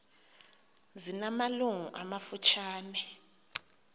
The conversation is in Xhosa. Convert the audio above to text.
zina malungu amafutshane